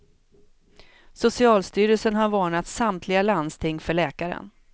Socialstyrelsen har varnat samtliga landsting för läkaren.